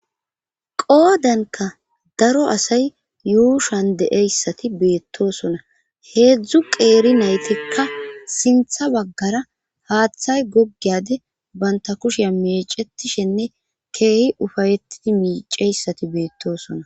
qoodanka daro asay yuushan deeyssati beettosona heedzdzu qeeri naytikka sintha baggara haaththay goggeyade banta kushea mecetishenne keehi ufayettidi miiceyssati beettosona